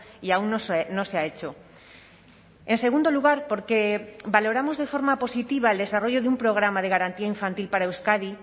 y aún no se ha hecho en segundo lugar porque valoramos de forma positiva el desarrollo de un programa de garantía infantil para euskadi